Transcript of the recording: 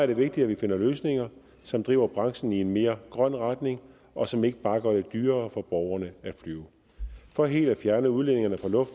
det vigtigt at vi finder løsninger som driver branchen i en mere grøn retning og som ikke bare gør det dyrere for borgerne at flyve for helt at fjerne udledningerne fra